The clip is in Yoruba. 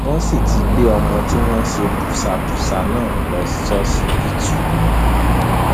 wọn sì ti gbé ọmọ tí wọn ṣe báṣubàṣu náà lọ ṣọsibítù